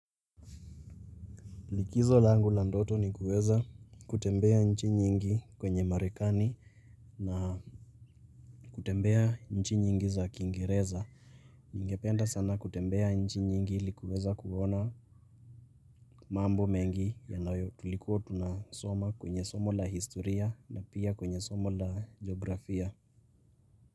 Likizo langu la ndoto ni kuweza kutembea nchi nyingi kwenye marekani na kutembea nchi nyingi za kiingereza. Ningependa sana kutembea nchi nyingi ili kuweza kuona mambo mengi yanayo tulikuwa tunasoma kwenye somo la historia na pia kwenye somo la jiografia.